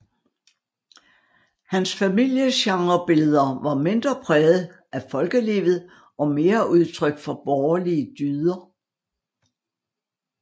Hans familiegenrebilleder var mindre præget af folkelivet og mere udtryk for borgerlige dyder